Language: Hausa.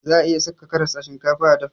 Za'a iya saka karas a shinkafa a dafa.